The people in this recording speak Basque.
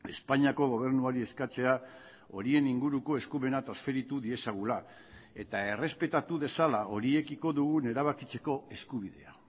espainiako gobernuari eskatzea horien inguruko eskumena transferitu diezagula eta errespetatu dezala horiekiko dugun erabakitzeko eskubidea